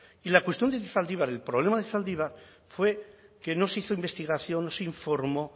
y la cuestión de zaldibar el problema de zaldibar fue que no se hizo investigación no se informó